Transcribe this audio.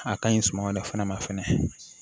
A ka ɲi suman dɔ fɛnɛ ma fɛnɛ